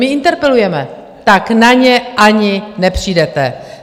My interpelujeme, tak na ně ani nepřijdete.